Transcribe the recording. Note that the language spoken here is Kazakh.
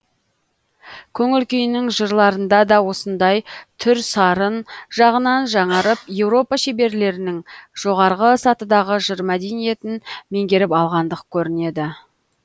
көңіл күйінің жырларында да осындай түр сарын жағынан жаңарып еуропа шеберлерінің жоғарғы сатыдағы жыр мәдениетін меңгеріп алғандық көрінеді